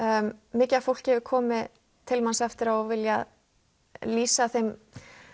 mikið af fólki hefur komið til manns eftir á og viljað lýsa þeim